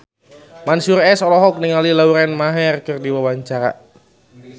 Mansyur S olohok ningali Lauren Maher keur diwawancara